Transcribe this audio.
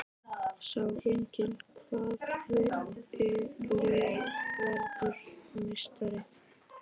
Sjá einnig: Hvaða lið verður meistari?